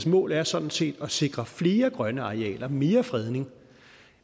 mål er sådan set at sikre flere grønne arealer og mere fredning